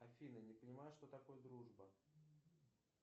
афина не понимаю что такое дружба